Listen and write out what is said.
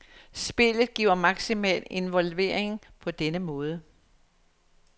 Spillet giver maksimal involvering på denne måde.